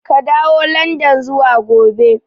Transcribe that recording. Ka dawo landan zuwa gobe!